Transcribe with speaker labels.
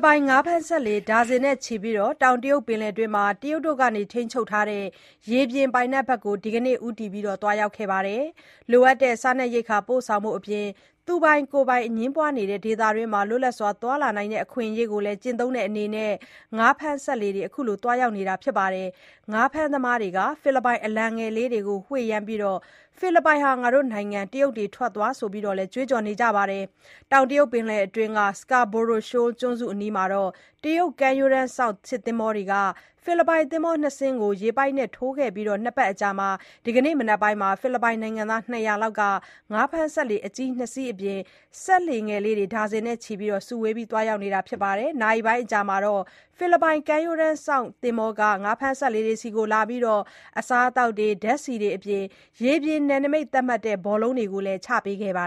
Speaker 1: ပိုင် ငါးဖမ်းစက်လှေ ဒါဇင်နဲ့ချီပြီး တောင်တရုတ်ပင်လယ်တွင်း တရုတ်ဘက်က ထိန်းချုပ်ထားတဲ့ ရေပြင်ပိုင်နက်ဘက်ကို ဒီကနေ့ ဦးတည် သွားရောက်ခဲ့ကြပါတယ်။ လိုအပ်တဲ့ စားရေးရိက္ခာ ပို့ဆောင်ဖို့အပြင် သူပိုင်ကိုယ်ပိုင် အငြင်းပွားနေတဲ့ ဒေသတွင်းမှာ လွတ်လပ်စွာသွားလာနိုင်တဲ့ အခွင့်အရေးကိုလည်း ကျင့်သုံးတဲ့အနေနဲ့ ငါးဖမ်းစက်လှေတွေ အခုလို သွားရောက်တာပါ။ ငါးဖမ်းသမားတွေဟာ ဖိလစ်ပိုင်အလံငယ်လေးတွေကို ဝှေ့ယမ်းပြီး ဖိလစ်ပိုင်ဟာ တို့နိုင်ငံ၊ တရုတ်တွေ ထွက်သွား ဆိုပြီးတော့လည်း ကြွေးကြော်ကြပါတယ်။ တောင်တရုတ်ပင်လယ်အတွင်းက Scarborough Schoal ကျွန်းစုအနီးမှာ တရုတ်ကမ်းရိုးတန်းစောင့် စစ်သင်္ဘောတွေဟာ ဖိလစ်ပိုင် သင်္ဘောနှစ်စီးကို ရေပိုက်နဲ့ထိုးခဲ့အပြီး ၂ ပတ်အကြာ ဒီကနေ့မနက်ပိုင်းမှာ ဖိလစ်ပိုင်နိုင်ငံသား ၂၀၀ လောက်ဟာ ငါးဖမ်းစက်လှေ အကြီး ၂ စီးအပြင် စက်လှေငယ်လေးတွေ ဒါဇင်နဲ့ချီ စုဝေးပြီးသွားရောက်တာပါ။ နာရီပိုင်း အကြာမှာတော့ ဖိလစ်ပိုင် ကမ်းရိုးတန်းစောင့်သင်္ဘောဟာ ငါးဖမ်းစက်လှေတွေဆီလာပြီး အစားအစာ၊ ဓါတ်ဆီအပြင် ရေပြင်နယ်နမိတ်သတ်မှတ်တဲ့ ဘောလုံးတွေကိုလည်း ချပေး
Speaker 2: ခဲ့ပါ